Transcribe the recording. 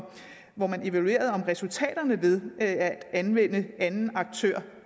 hvor man evaluerede resultaterne af at anvende anden aktør